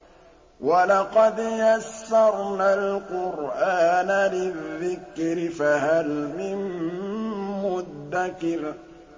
وَلَقَدْ يَسَّرْنَا الْقُرْآنَ لِلذِّكْرِ فَهَلْ مِن مُّدَّكِرٍ